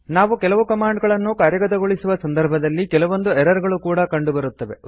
ನಾವು ಕೆಲವು ಕಮಾಂಡ್ ಗಳನ್ನು ಕಾರ್ಯಗತಗೊಳಿಸುವ ಸಂದರ್ಭದಲ್ಲಿ ಕೆಲವೊಂದು ಎರರ್ ಗಳು ಕೂಡಾ ಕಂಡು ಬರುತ್ತದೆ